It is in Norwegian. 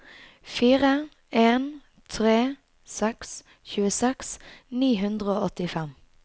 fire en tre seks tjueseks ni hundre og åttifem